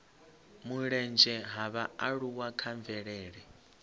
mulenzhe ha vhaaluwa kha mvelele